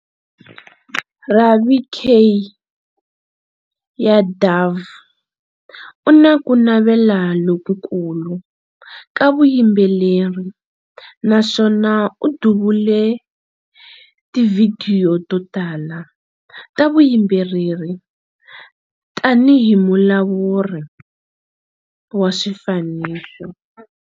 Ravi K. Yadav u na ku navela lokukulu ka vuyimbeleri naswona u duvule tivhidiyo to tala ta vuyimbeleri tanihi Mulawuri wa Swifaniso.